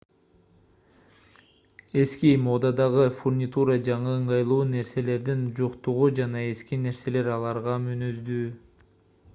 эски модадагы фурнитура жаңы ыңгайлуу нерселердин жоктугу жана эски нерселер аларга мүнөздүү